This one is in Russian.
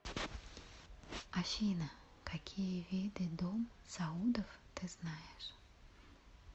афина какие виды дом саудов ты знаешь